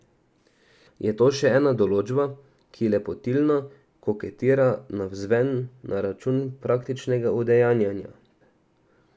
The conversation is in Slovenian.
Je to še ena določba, ki lepotilno koketira navzven na račun praktičnega udejanjanja?